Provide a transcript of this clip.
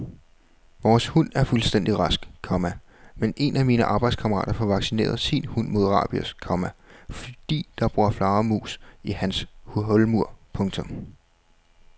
Vores hund er fuldstændig rask, komma men en af mine arbejdskammerater får vaccineret sin hund mod rabies, komma fordi der bor flagermus i hans hulmur. punktum